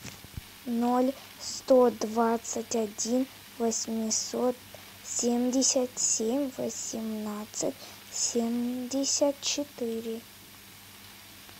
ноль сто двадцать один восемьсот семьдесят семь восемнадцать семьдесят четыре